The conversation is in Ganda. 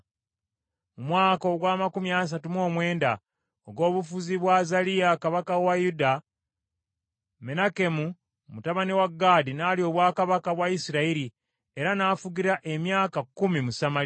Mu mwaka ogw’amakumi asatu mu mwenda ogw’obufuzi bwa Azaliya kabaka wa Yuda, Menakemu mutabani wa Gaadi n’alya obwakabaka bwa Isirayiri, era n’afugira emyaka kkumi mu Samaliya.